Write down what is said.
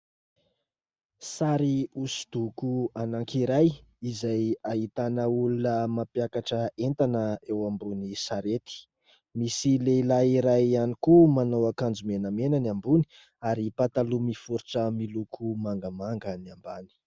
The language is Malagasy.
Sary hosodoko anankiray izay ahitana olona mampiakatra entana eo ambony sarety. Misy lehilahy iray ihany koa manao akanjo menamena ny ambony ary pataloha miforitra miloko mangamanga ny ambany.